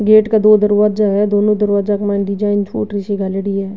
Gate के दो दरवाजा है दोना दरवाजा के मायने डिजाइन फूटरी सी गालेडी है।